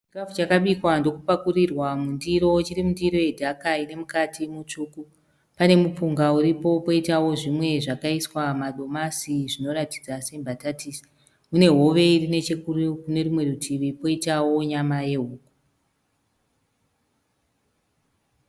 Chikafu chakabikwa ndokupakurirwa mundiro. Chiri mundiro yendaga ine mukati mu tsvuku. Pane mupunga uripo koitawo zvimwe zvakaiswa madomasi zvinoratidza sembatatisi. Mune hove iri kune rimwe rutivi koitawo nyama yehuku.